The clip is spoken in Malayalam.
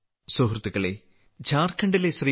സുഹൃത്തുക്കളേ ഝാർഖണ്ഡിലെ ശ്രീ